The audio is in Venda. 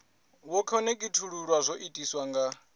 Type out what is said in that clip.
wo khonekhithululwa zwo itiswa nga